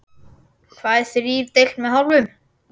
Hvað er þrír deilt með hálfum?